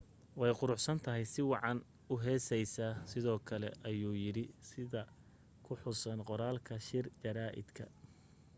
way quruxsantahay si wacanway u heesaysaa sidoo kale ayuu yidhi sida ku xusan qoraalka shir jaraaidka